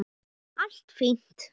Allt fínt.